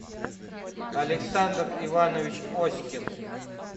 александр иванович оськин